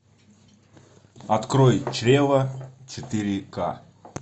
открой чрево четыре ка